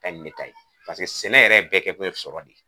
Ta ɲi ne ta ye pase sɛnɛ yɛrɛ bɛɛ kɛkun ye sɔrɔ de